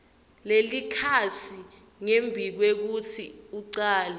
lelikhasi ngembikwekutsi ucale